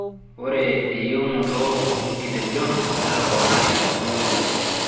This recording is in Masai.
Ore eyieunoto oo nkitejon netoponari tekuna olong'i.